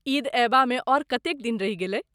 ईद अयबामे आओर कतेक दिन रहि गेलै?